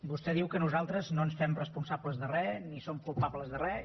vostè diu que nosaltres no ens fem responsables de res ni som culpables de res